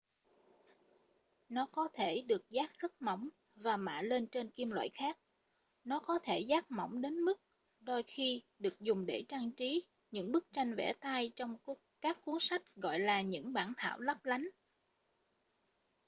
nó có thể được dát rất mỏng và mạ lên trên kim loại khác nó có thể dát mỏng đến mức đôi khi được dùng để trang trí những bức tranh vẽ tay trong các cuốn sách gọi là những bản thảo lấp lánh